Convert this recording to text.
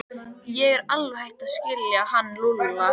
Ég er alveg hætt að skilja hann Lúlla.